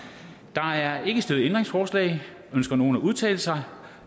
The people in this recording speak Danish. der er ikke stillet ændringsforslag ønsker nogen at udtale sig